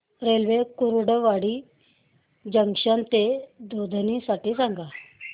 railway Kurduwadi junction ते दुधनी साठी सांगा